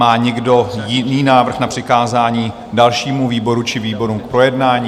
Má někdo jiný návrh na přikázání dalšímu výboru či výborům k projednání?